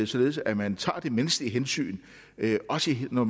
således at man tager det menneskelige hensyn også når